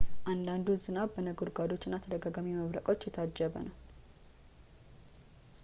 አንዳንዱ ዝናብ በነጎድጓዶች እና ተደጋጋሚ መብረቆች የታጀበ ነበር